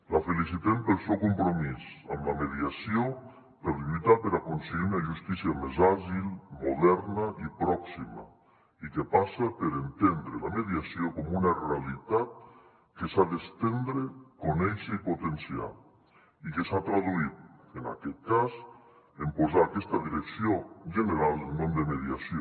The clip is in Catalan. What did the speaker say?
la felicitem pel seu compromís amb la mediació per lluitar per aconseguir una justícia més àgil moderna i pròxima i que passa per entendre la mediació com una realitat que s’ha d’estendre conèixer i potenciar i que s’ha traduït en aquest cas en posar a aquesta direcció general el nom de mediació